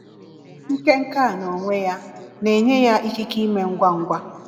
Nke Nke a n’onwe ya, na-enye ya ikike ime ngwa ngwa.